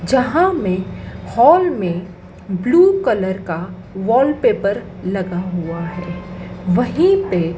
जहां में हॉल में ब्लू कलर का वॉलपेपर लगा हुआ है। वही पे--